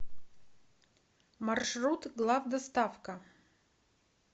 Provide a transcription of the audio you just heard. маршрут главдоставка